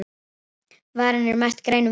Varan er merkt Grænum kosti